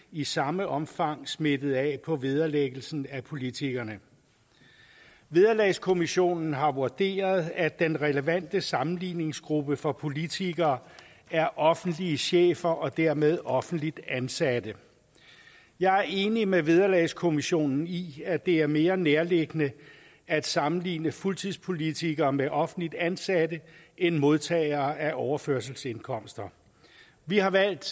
i samme omfang smittet af på vederlæggelsen af politikerne vederlagskommissionen har vurderet at den relevante sammenligningsgruppe for politikere er offentlige chefer og dermed offentligt ansatte jeg er enig med vederlagskommissionen i at det er mere nærliggende at sammenligne fuldtidspolitikere med offentligt ansatte end modtagere af overførselsindkomster vi har valgt